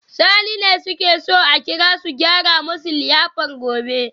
Sani ne suke so a kira su gyara musu liyafar gobe